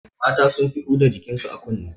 Mata sun fi huda jikin su a kunne